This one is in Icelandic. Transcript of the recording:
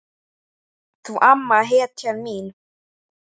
Þú amma, hetjan mín.